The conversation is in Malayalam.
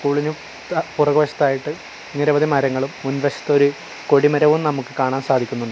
പൊളിഞ്ഞു പുറകുവശത്ത് ആയിട്ട് നിരവധി മരങ്ങളും മുൻവശത്ത് ഒരു കൊടിമരവും നമുക്ക് കാണാൻ സാധിക്കുന്നുണ്ട്.